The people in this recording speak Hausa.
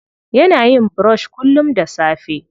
Yana yin brush kullum da safe.